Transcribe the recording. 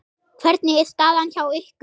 Hvernig er staðan hjá ykkur?